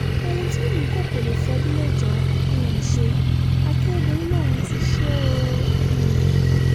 ohun tí mímíkọ́ kọ lè fọ́dún mẹ́jọ um ṣe akérèdọ́lù lòún ti ṣe é o um